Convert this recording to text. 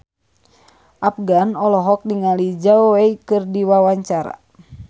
Afgan olohok ningali Zhao Wei keur diwawancara